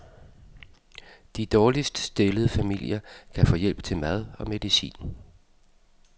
De dårligst stillede familier kan få hjælp til mad og medicin.